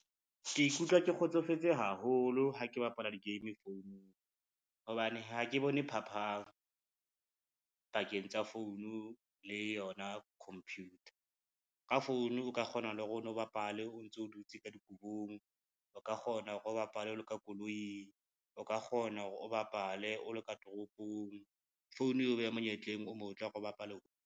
Ke ikutlwa ke kgotsofetse haholo ha ke bapala di-game founung, hobane ha ke bone phapang pakeng tsa founu le yona computer. Ka phone o ka kgona le hore o no bapale o ntso dutse ka dikobong, o ka kgona hore o bapale o lo ka koloi, o ka kgona hore o bapale o lo ka toropong. Phone eo beha monyetleng o motle hore o bapale.